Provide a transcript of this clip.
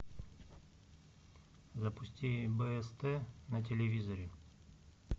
запусти бст на телевизоре